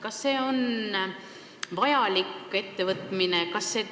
Kas see on vajalik ettevõtmine?